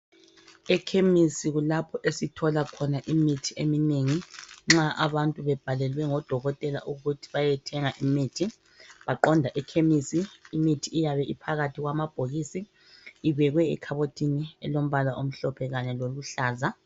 EKhemisi kulapho esithola khona imithi eminengi nxa abantu bebhalelwe ngoDokotela ukuthi bayethenga imithi. Baqonda ekhemisi, imithi iyabe iphakathi kwamabhokisi ibekwe ekhabothini elombala omhlophe kanye loluhlaza.